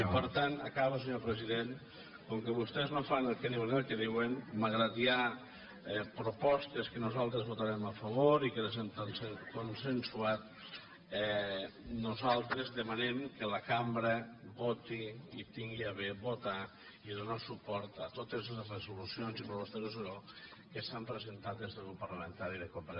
i per tant acabo senyor president com que vostès no fan el que diuen ni el que escriuen malgrat que hi ha propostes que nosaltres votarem a favor i que les hem consensuat nosaltres demanem que la cambra voti i tingui a bé votar i donar suport a totes les resolucions i propostes de resolució que s’han presentat des del grup parlamentari de convergència i unió